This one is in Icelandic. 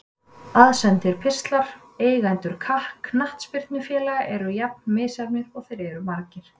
Aðsendir pistlar Eigendur knattspyrnufélaga eru jafn misjafnir og þeir eru margir.